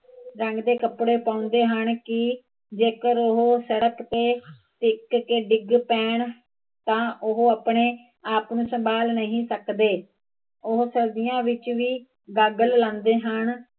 ਰੰਗ ਦੇ ਕੱਪੜੇ ਪਾਉਦੇ ਹਨ ਕੀ ਜੇਕਰ ਉਹ ਸੜਕ ਤੇ ਟਿਕ ਕੇ ਡਿੱਗ ਪੈਣ ਤਾਂ ਉਹ ਆਪਣੇ ਆਪ, ਨੂੰ ਸਭਾਲ ਨਹੀਂ ਸਕਦੇ ਉਹ ਸਰਦੀਆ ਵਿੱਚ ਵੀ ਗਾਗਲ ਲਾਉਦੇ ਹਨ ਤੇ